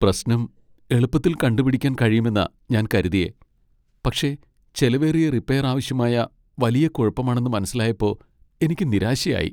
പ്രശ്നം എളുപ്പത്തിൽ കണ്ടുപിടിക്കാൻ കഴിയുമെന്നാ ഞാൻ കരുതിയേ, പക്ഷെ ചെലവേറിയ റിപ്പയർ ആവശ്യമായ വലിയ കുഴപ്പമാണെന്ന് മനസ്സിലായപ്പോ എനിക്ക് നിരാശയായി.